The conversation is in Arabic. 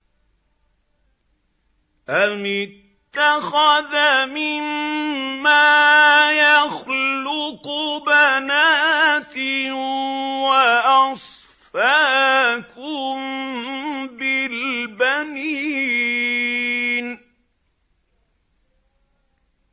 أَمِ اتَّخَذَ مِمَّا يَخْلُقُ بَنَاتٍ وَأَصْفَاكُم بِالْبَنِينَ